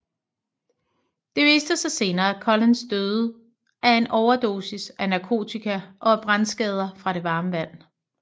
Det viste sig senere at Collins døde af en overdosis af narkotika og af brandskader fra det varme vand